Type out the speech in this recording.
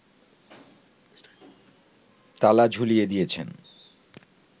তালা ঝুলিয়ে দিয়েছেন